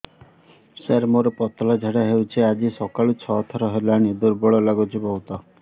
ସାର ମୋର ପତଳା ଝାଡା ହେଉଛି ଆଜି ସକାଳୁ ଛଅ ଥର ହେଲାଣି ଦୁର୍ବଳ ଲାଗୁଚି ବହୁତ